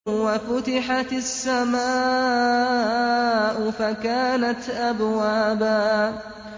وَفُتِحَتِ السَّمَاءُ فَكَانَتْ أَبْوَابًا